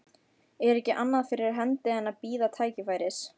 Er ekki annað fyrir hendi en að bíða tækifæris.